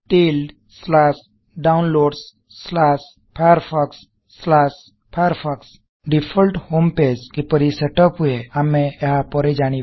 tilde slash downloads slash Firefox slash Firefox tildedownloadsfirefoxଫାୟାରଫକ୍ସ default home page କିପରି set up ହୁଏ ଆମେ ଏହା ପରେ ଜାଣିବା